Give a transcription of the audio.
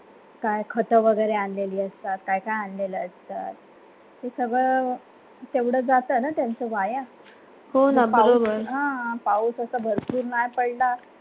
काय खत वगैरे आलेल्या असतात काय काय आलेला असतात ते सगळा तेवढं जाताना त्यांचा व्हाय हो ना बावन हा पाऊस असं भरपूर मार पडला.